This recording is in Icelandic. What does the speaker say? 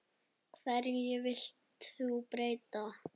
Hverju vilt þú breyta?